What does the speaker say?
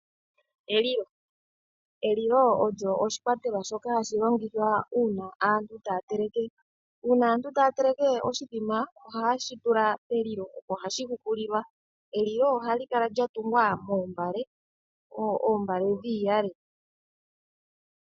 Elilo Elilo olyo oshikwatelwa shoka hashi longithwa uuna aantu taya teleke. Uuna aantu taya teleke oshimbombo ohaye shi tula pelilo, opo hashi hukuilwa. Elilo ohali kala lya tungwa moombale, oombale dhiiyale.